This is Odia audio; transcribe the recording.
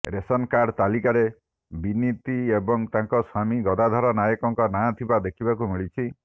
ରେସନ କାର୍ଡ ତାଲିକାରେ ବିନତି ଏବଂ ତାଙ୍କ ସ୍ୱାମୀ ଗଦାଧର ନାୟକଙ୍କ ନାଁ ଥିବା ଦେଖିବାକୁ ମିଳିଛି